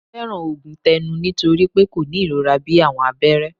Mo fẹran oogun tẹnu nitori pe ko ni irora bii awọn abẹrẹ